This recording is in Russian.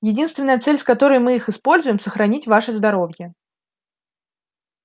единственная цель с которой мы их используем сохранить ваше здоровье